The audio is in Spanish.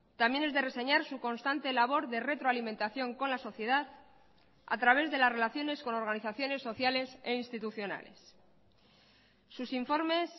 también es de reseñar su constante labor de retroalimentación con la sociedad a través de las relaciones con organizaciones sociales e institucionales sus informes